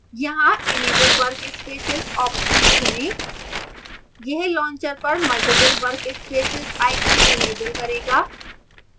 यहाँ enable workspaces option चुनें यह launcher पर मल्टिपल workspaces आइकन enable करेगा